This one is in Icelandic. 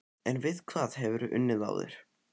En við hvað hefurðu unnið áður?